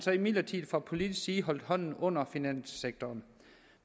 imidlertid fra politisk side holdt hånden under finanssektoren